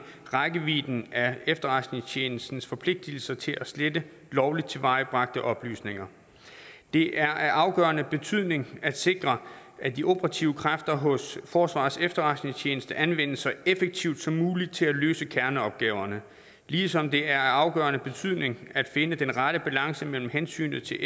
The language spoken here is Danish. rækkevidden af efterretningstjenestens forpligtelser til at slette lovligt tilvejebragte oplysninger det er af afgørende betydning at sikre at de operative kræfter hos forsvarets efterretningstjeneste anvendes så effektivt som muligt til at løse kerneopgaverne ligesom det er af afgørende betydning at finde den rette balance mellem hensynet til